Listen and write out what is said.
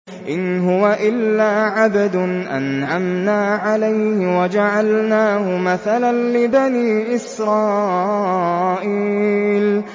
إِنْ هُوَ إِلَّا عَبْدٌ أَنْعَمْنَا عَلَيْهِ وَجَعَلْنَاهُ مَثَلًا لِّبَنِي إِسْرَائِيلَ